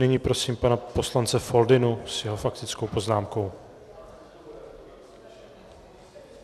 Nyní prosím pana poslance Foldynu s jeho faktickou poznámkou.